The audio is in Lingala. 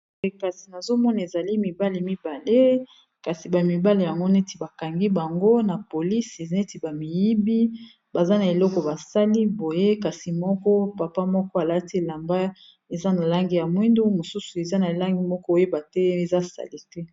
kasi nazomona ezali mibale mibale kasi bamibale yango neti bakangi bango na polisi neti bamiyibi baza na eloko basali boye kasi moko papa moko alati elamba eza na langi ya mwindu mosusu eza na langi moko oyeba te eza sali te